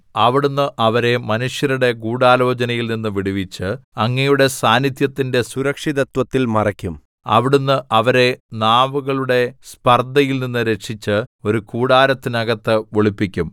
അവിടുന്ന് അവരെ മനുഷ്യരുടെ ഗൂഢാലോചനയിൽ നിന്ന് വിടുവിച്ച് അങ്ങയുടെ സാന്നിദ്ധ്യത്തിന്റെ സുരക്ഷിതത്വത്തിൽ മറയ്ക്കും അവിടുന്ന് അവരെ നാവുകളുടെ സ്പർദ്ധയിൽനിന്ന് രക്ഷിച്ച് ഒരു കൂടാരത്തിനകത്ത് ഒളിപ്പിക്കും